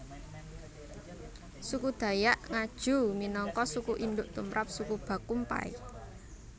Suku Dayak Ngaju minangka suku induk tumrap suku Bakumpai